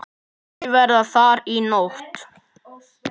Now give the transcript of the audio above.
Þau verða þar í nótt.